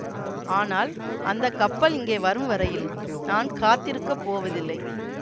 ஆனால் அந்த கப்பல் இங்கே வரும் வரையில் நான் காத்திருக்கப் போவதில்லை